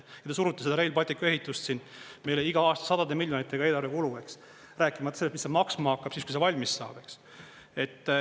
Ja te surute seda Rail Balticu ehitust siin meile iga aasta sadade miljonitega eelarve kulu, rääkimata sellest, mis see maksma hakkab siis, kui see valmis saab.